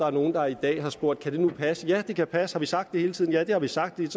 er nogle der i dag har spurgt kan det nu passe ja det kan passe har vi sagt det hele tiden ja det har vi sagt det er